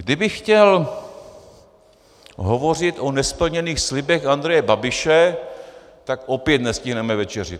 Kdybych chtěl hovořit o nesplněných slibech Andreje Babiše, tak opět nestihneme večeři.